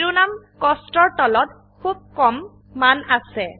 শিৰোনাম কস্ট এৰ তলত খুব কম মান আছে